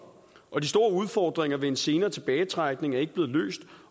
og de store udfordringer ved en senere tilbagetrækning er ikke blevet løst